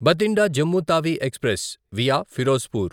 Bathinda Jammu Tawi express via Firozpur